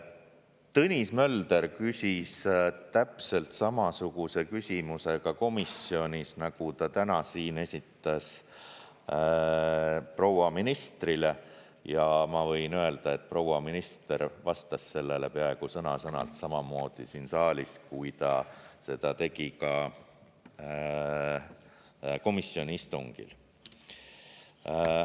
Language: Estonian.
Tõnis Mölder küsis täpselt samasuguse küsimuse ka komisjonis, nagu ta täna siin esitas proua ministrile, ja ma võin öelda, et proua minister vastas sellele peaaegu sõna-sõnalt samamoodi siin saalis, kui ta seda tegi ka komisjoni istungil.